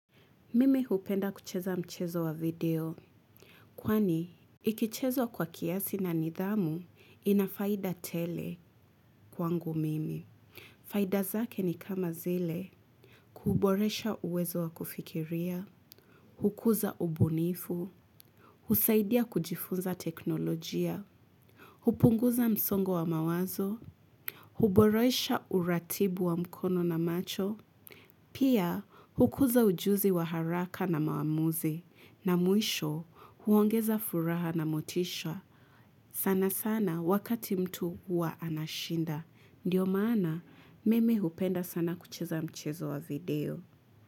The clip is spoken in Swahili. Mimi hupenda kucheza mchezo wa video. Kwani, ikichezwa kwa kiasi na nidhamu, inafaida tele kwangu mimi. Faida zake ni kama zile, kuboresha uwezo wa kufikiria, hukuza ubunifu, husaidia kujifunza teknolojia, hupunguza msongo wa mawazo, huboresha uratibu wa mkono na macho, pia, hukuza ujuzi wa haraka na maamuzi, na mwisho huongeza furaha na motisha sana sana wakati mtu wa anashinda. Ndiyo maana, mimi hupenda sana kucheza mchezo wa video.